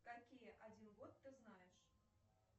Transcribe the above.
какие один год ты знаешь